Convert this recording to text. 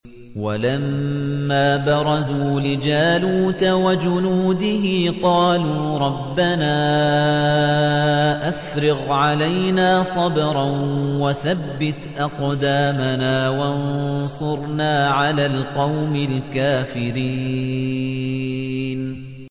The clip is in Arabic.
وَلَمَّا بَرَزُوا لِجَالُوتَ وَجُنُودِهِ قَالُوا رَبَّنَا أَفْرِغْ عَلَيْنَا صَبْرًا وَثَبِّتْ أَقْدَامَنَا وَانصُرْنَا عَلَى الْقَوْمِ الْكَافِرِينَ